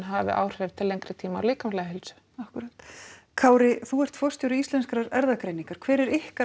hafi áhrif til lengri tíma á líkamlega heilsu akkúrat Kári þú ert forstjóri Íslenskrar erfðagreiningar hver er ykkar